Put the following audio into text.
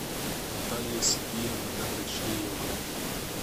наталия сергеевна доброчеева